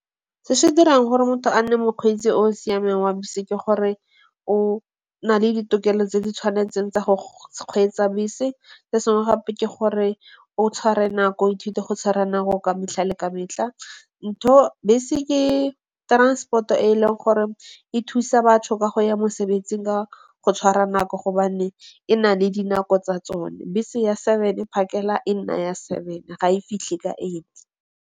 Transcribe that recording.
Se se dirang gore motho a nne mokgweetsi o o siameng wa bese ke gore o na le ditokelo tse di tshwanetseng tsa go kgweetsa bese. Se sengwe gape ke gore o tshware nako, o ithute go tshwara nako ka metlha le ka metlha. Ntho bese ke transport-o e e leng gore e thusa batho ka go ya mosebetsing ka go tshwara nako gobane e na le dinako tsa tsone. Bese ya seven phakela e nna ya seven ga e fitlhe ka eight.